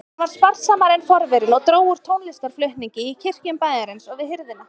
Hann var sparsamari en forverinn og dró úr tónlistarflutningi í kirkjum bæjarins og við hirðina.